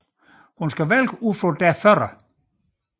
Hun skal vælge ud fra deres fødder